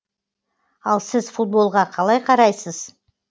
ал сіз футболға қалай қарайсыз